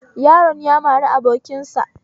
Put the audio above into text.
Yaron ya mari abokin sa